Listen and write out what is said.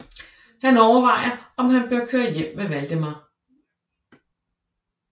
Han overvejer om han bør køre hjem med Waldemar